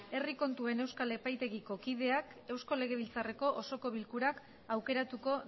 herri kontuen euskal epaitegiko kideak eusko legebiltzarreko osoko bilkurak aukeratuko